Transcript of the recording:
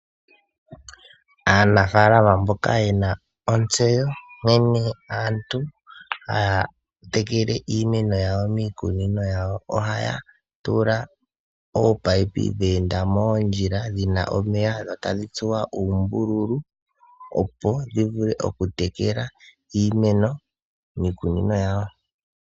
Aanafaalama mboka yena ontseyo nkene aantu haya tekele iimeno yawo miikunino yawo ohaya tula ominino dheenda moondjila dhina omeya dho tadhi tsuwa uumbululu opo dhivule okutekela iimeno miikunino yawo.